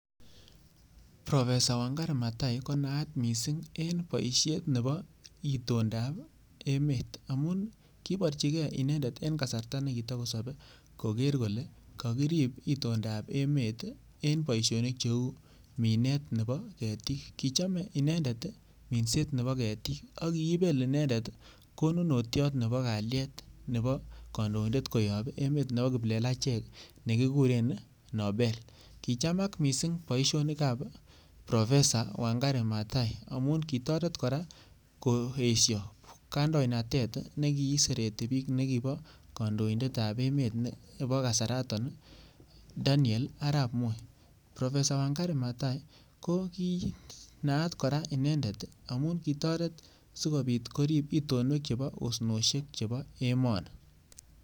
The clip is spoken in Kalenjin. Professor Wangare Maathae konayat mising eng' boishet nebo itondaab emet amun koborchingei inendet eng' kasarta nekitikosobei koker kole kakirib itondaab emet eng boishonik cheu money nebo ketik kichamei inendet minset nebo ketiik akiibel inendet konunotyot nebo kalyet nebo kandoindet koyob emet nebo kiplelachek nekikure Nobel kichamak mising' boishonikab professor Wangare Maathae amun kitoret kora koesho kandoindet nekiiseteti piik nekibo kandoindetab emet nebo kasaraton Daniel arap Moi professor Wangare Maathae ko kinaat kora inendet amun kitoret sikopit korip pitonet nebo osnoshek chebo emoni